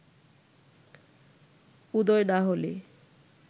উদয় না হলে